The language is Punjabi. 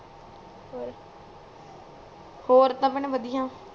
ਔਰ ਔਰ ਤਾ ਭੈਣ ਬਦਿਆ